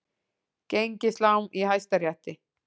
Gengislán í Hæstarétti